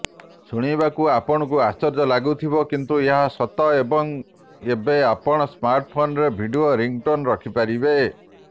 ଶୁଣିବାକୁ ଆପଣଙ୍କୁ ଆଶ୍ଚର୍ଯ୍ୟ ଲାଗୁଥିବ କିନ୍ତୁ ଏହା ସତ ଏବଂ ଏବେ ଆପଣ ସ୍ମାର୍ଟଫୋନରେ ଭିଡିଓ ରିଙ୍ଗଟୋନ ରଖିପାରିବେ